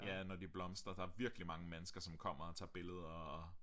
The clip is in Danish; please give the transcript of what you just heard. Ja når de blomstrer der er virkelig mange mennesker som kommer og tager billeder og